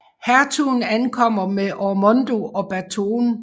Hertugen ankommer med Ormondo og Batone